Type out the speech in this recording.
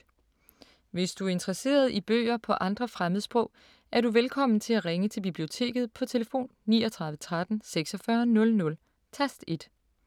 Hvis du er interesseret i bøger på andre fremmedsprog, er du velkommen til at ringe til Biblioteket på tlf. 39 13 46 00, tast 1.